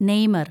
Neymar‍